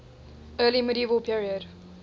early medieval period